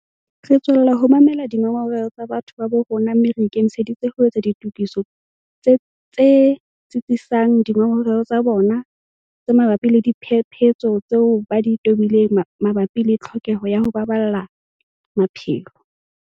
Re tswella ho mamela dingongoreho tsa batho ba bo rona mme re ikemiseditse ho etsa ditokiso tse tsitsisang dingongoreho tsa bona tse mabapi le diphephetso tseo ba di tobileng mabapi le tlhokeho ya ho baballa maphelo.